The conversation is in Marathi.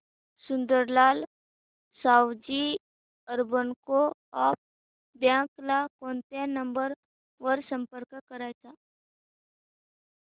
Sundarlal Savji urban co-op bank ला कोणत्या नंबर वर संपर्क करायचा